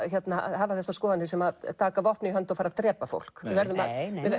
hafa þessar skoðanir sem taka vopn í hönd og fara að drepa fólk nei nei